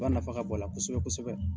nafa ka bɔ a la kosɛbɛ kosɛbɛ.